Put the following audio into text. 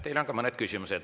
Teile on ka mõned küsimused.